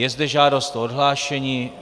Je zde žádost o odhlášení.